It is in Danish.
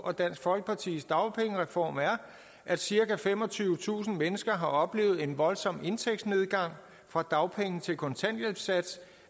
og dansk folkepartis dagpengereform at cirka femogtyvetusind mennesker har oplevet en voldsom indtægtsnedgang fra dagpenge til kontanthjælpssats